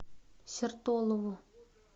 сертолово